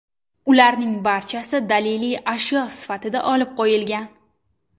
Ularning barchasi daliliy ashyo sifatida olib qo‘yilgan.